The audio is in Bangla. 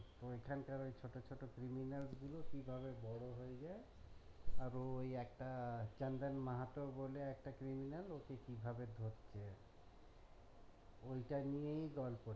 ঐখান কার ওই ছোটো ছোটো criminals গুলো কিভাবে বড়ো হয়ে যাই আর ওই একটা আহ চান্দন মাহাতো বলে একটা criminals ওকে কিভাবে ধরছে ওইটা নিয়েই গল্প টা।